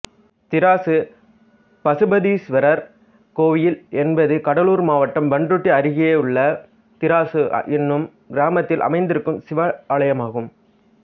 திராசு பசுபதீசுவரர் கோயில் என்பது கடலூர் மாவட்டம் பண்ருட்டி அருகேயுள்ள திராசு எனும் கிராமத்தில் அமைந்திருக்கும் சிவாலயமாகும்